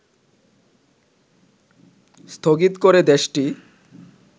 স্থগিত করে দেশটি